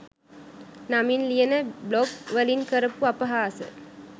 නමින් ලියන බ්ලොග් වලින් කරපු අපහාස